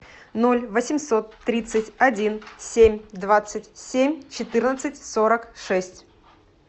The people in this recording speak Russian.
ноль восемьсот тридцать один семь двадцать семь четырнадцать сорок шесть